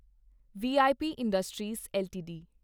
we I P industries LTD